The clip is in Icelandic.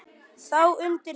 Þá undir slá.